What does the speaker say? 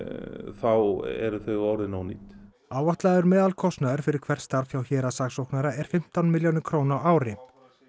þá eru þau orðin ónýt áætlaður meðalkostnaður fyrir hvert starf hjá héraðssaksóknara er fimmtán milljónir króna á ári